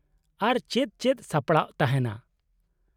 -ᱟᱨ ᱪᱮᱫ ᱪᱮᱫ ᱥᱟᱯᱲᱟᱣ ᱛᱟᱦᱮᱱᱟ ?